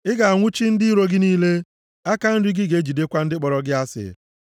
Ị ga-anwụchi ndị iro gị niile; aka nri gị ga-ejidekwa ndị kpọrọ gị asị.